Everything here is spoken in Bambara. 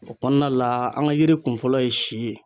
O kɔnɔna la an ka yiri kunfɔlɔ ye si ye.